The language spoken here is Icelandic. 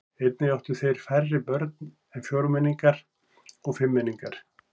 Einnig áttu þeir færri börn en fjórmenningar og fimmmenningar.